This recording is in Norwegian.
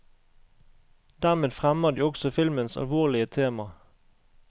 Dermed fremmer de også filmens alvorlige tema.